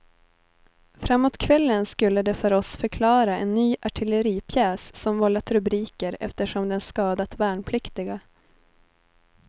Framåt kvällen skulle de för oss förklara en ny artilleripjäs som vållat rubriker eftersom den skadat värnpliktiga.